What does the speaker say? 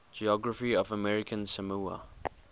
geography of american samoa